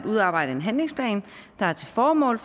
udarbejdes en handlingsplan der har til formål